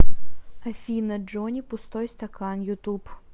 афина джони пустой стакан ютуб